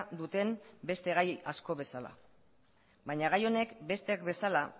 duten beste gai asko bezala baina gai honek besteak bezala